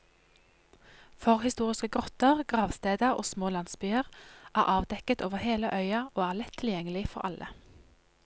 Forhistoriske grotter, gravsteder og små landsbyer er avdekket over hele øya og er lett tilgjengelig for alle.